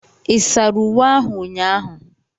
Ị sara uwe ahu ụnyaahụ?